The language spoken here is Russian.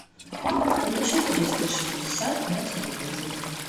включи триста шестьдесят на телевизоре